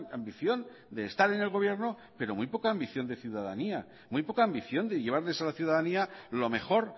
ambición de estar en el gobierno pero muy poca ambición de ciudadanía muy poca ambición de llevarles a la ciudadanía lo mejor